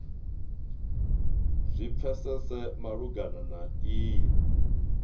zwi pfesese malugana na iyi